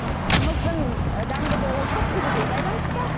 қымыздың дәмді болуы күбіге байланысты